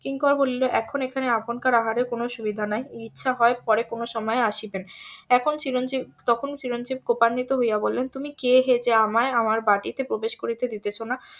কিঙ্কর বলিল এখন এখানে আপনকার আহারের কোনো সুবিধা নাই ইচ্ছা হয় পরে কোনো সময় আসিবেন এখন চিরঞ্জিব তখন চিরঞ্জিব কুপানিতো হইয়া বললেন তুমি কে হে যে আমায় আমার বাটিতে প্রবেশ করিতে দিতেছ না